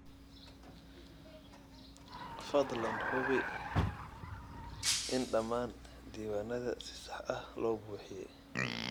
Fadlan hubi in dhammaan diiwaanada si sax ah loo buuxiyay.